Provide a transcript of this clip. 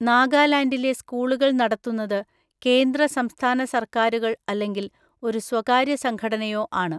നാഗാലാൻഡിലെ സ്‌കൂളുകൾ നടത്തുന്നത് കേന്ദ്ര സംസ്ഥാന സർക്കാരുകൾ അല്ലെങ്കിൽ ഒരു സ്വകാര്യ സംഘടനയോ ആണ്.